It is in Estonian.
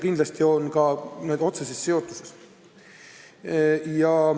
Kindlasti on ka need asjad otseselt seotud.